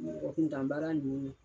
Mɔgɔ kun tan baara de y'o ye